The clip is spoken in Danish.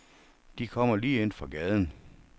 De kommer lige ind fra gaden.